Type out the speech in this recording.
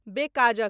बेकाज़क